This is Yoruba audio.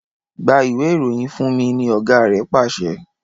Gba Ìwé-ìròyìn fúnmi! ní ọgá rẹ pàṣẹ.